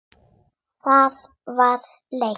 Það var leitt.